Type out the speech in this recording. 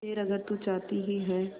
खैर अगर तू चाहती ही है